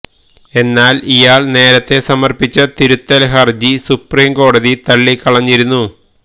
എന്നാൽ ഇയാൾ നേരത്തെ സമർപ്പിച്ച തിരുത്തൽ ഹർജി സുപ്രീം കോടതി തള്ളിക്കളഞ്ഞിരുന്നു